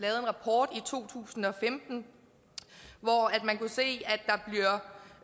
rapport i to tusind og femten hvoraf man kunne se